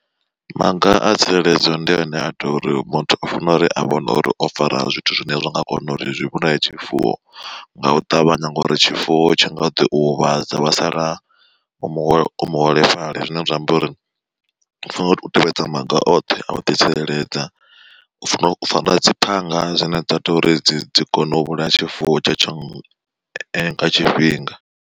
Maga a tsireledzo ndi ane a tea uri muthu o fanela uri a vhone uri o fara zwithu zwine zwa nga kona uri zwi vhulaye tshifuwo nga u ṱavhanya. Ngori tshifuwo tshi nga ḓi u huvhadza wa sala u muholo muholefhali zwine zwa amba uri u fanela uri u tevhedza maga oṱhe a u ḓitsireledza, u fana fara dzi phanga dzine dza to uri dzi dzi kone u vhulaya tshifuwo tshe tsho nga tshifhinga.